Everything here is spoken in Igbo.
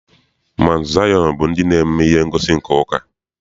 Maụntụ Zayọn bụ ndị na-eme ihe ngosi nke ụka.